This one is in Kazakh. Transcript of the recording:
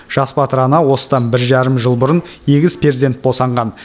жас батыр ана осыдан бір жарым жыл бұрын егіз перзент босанған